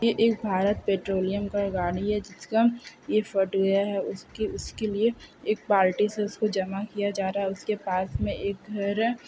यहे एक भारत पेट्रोलियम का गाड़ी है जिसका ये फट गया है उसका उसके लिए एक पार्टी से उसको जमा किया जा रहे है उसके पास में एक घर है।